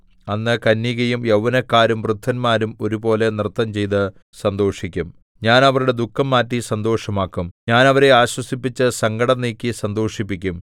അന്ന് കന്യകയും യൗവനക്കാരും വൃദ്ധന്മാരും ഒരുപോലെ നൃത്തംചെയ്ത് സന്തോഷിക്കും ഞാൻ അവരുടെ ദുഃഖം മാറ്റി സന്തോഷമാക്കും ഞാൻ അവരെ ആശ്വസിപ്പിച്ച് സങ്കടം നീക്കി സന്തോഷിപ്പിക്കും